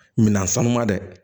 Minan sanu ma dɛ